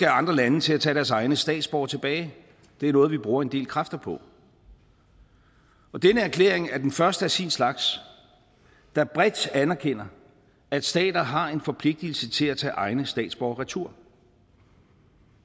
andre lande til at tage deres egne statsborgere tilbage det er noget vi bruger en del kræfter på denne erklæring er den første af sin slags der bredt anerkender at stater har en forpligtelse til at tage egne statsborgere retur